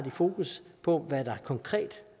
fokus på hvad der konkret